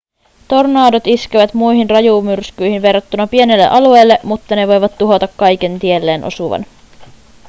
tornadot iskevät muihin rajumyrskyihin verrattuna pienelle alueelle mutta ne voivat tuhota kaiken tielleen osuvan